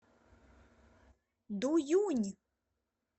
дуюнь